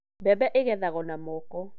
Mbembe igethagwo na moko.